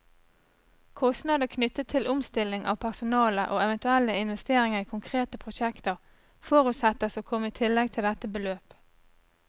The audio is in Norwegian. Kostnader knyttet til omstilling av personale, og eventuelle investeringer i konkrete prosjekter, forutsettes å komme i tillegg til dette beløp.